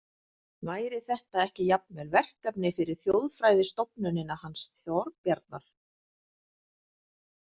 Væri þetta ekki jafnvel verkefni fyrir þjóðfræðistofnunina hans Þorbjarnar?